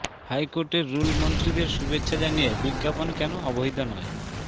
হাইকোর্টের রুল মন্ত্রীদের শুভেচ্ছা জানিয়ে বিজ্ঞাপন কেন অবৈধ নয়